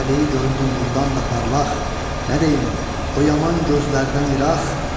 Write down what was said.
Taleyi göründü nurdan da parlaq, nə deyim, o yaman gözlərdən ıraq.